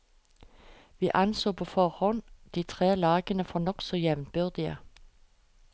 Vi anså på forhånd de tre lagene for nokså jevnbyrdige.